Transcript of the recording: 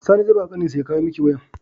Sani ze bawa ƙanin shi ya kawo miki wayar